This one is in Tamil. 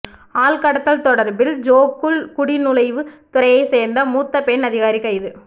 ஆள்கடத்தல் தொடர்பில் ஜோகூர் குடிநுழைவுத் துறையைச் சேர்ந்த மூத்த பெண் அதிகாரி கைது